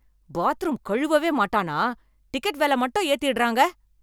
Bathroom கழுவவே மாட்டானா? Ticket வெல மட்டும் ஏத்திடறாங்க.